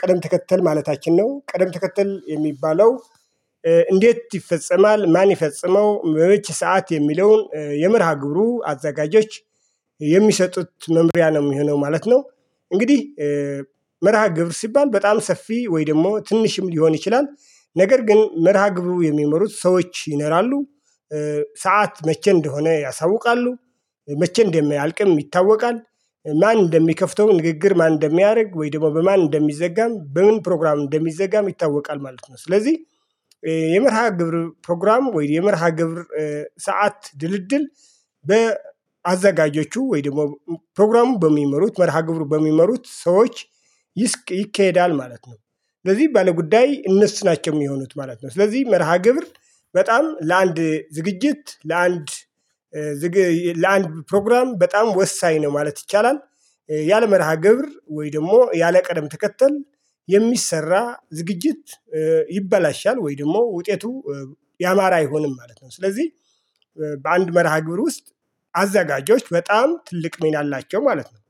ቀደም ተከተል ማለታችን አችን ነው ቀደም ተከተል የሚባለው እንዴት ይፈጸማል ማን ይፈጽመው መቼ ሰዓት የሚለውን የምርሃ ግብሩ አዘጋጆች የሚሰጡት መምሪያ ነው የሚሆነው ማለት ነው። እንግዲህ መርሃ ግብር ሲባል በጣም ሰፊ ወይ ደግሞ ትንሽም ሊሆን ይችላል። ነገር ግን መርሃግብሩ የሚመሩት ሰዎች ይነራሉ። ሰዓት መቼ እንደሆነ ያሳውቃሉ። መቼ እንደሚያልቅም ይታወቃል። ማን እንደሚከፍተው ንግግር ማን እንደሚያደርግ ወይ ደግሞ በማን እንደሚዘጋም በምን ፕሮግራም እንደሚዘጋም ይታወቃል ማለት ነው። ስለዚህ የመርሃ ግብር ፕሮግራም ወይስ የመርሃ ግብር ሰዓት ድልድል በአዘጋጀዎቹ ወይም ደግሞ ፕሮግራሙ በሚመሩት መርሃ ግብር በሚመሩት ሰዎች ይካሄዳል ማለት ነው። ስለዚህ ባለጉዳይ እነሱ ናቸው የሚሆኑት ማለት ነው። ስለዚህ መርሃ ግብር በጣም ለአንድ ዝግጅት ለአንድ ለአንድ ፕሮግራም በጣም ወሳኝ ነው ማለት ይቻላል። ያለመርሃ ግብር ወይ ደግሞ ያለቀደም ተከተል የሚሰራ ዝግጅት ይበላሻል ወይ ደግሞ ውጤቱ ያማረ አይሆንም ማለት ነው። ስለዚህ በአንድ መርሃ ግብር ውስጥ አዘጋጆች በጣም ትልቅ ሚና አላቸው ማለት ነው።